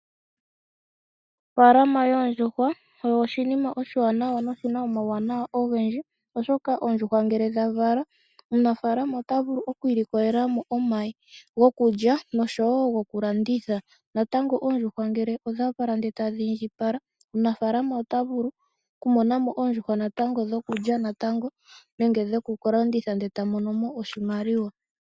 Ofaalama yoondjuhwa oyo oshinima oshiwanawa no shina omauwanawa ogendji. Oshoka Oondjuhwa ngele dha vala, omunafaalama ota vulu oku ilikolela mo omayi go kulya nosho wo goku landitha. Natango ngele Oondjuhwa oodha vala ndee tadhi indjipala, omunafaalama ota vulu oku mona mo oondjuhwa natango dhokulya natango nenge dhoku ka landitha eta mono mo oshimaliwa.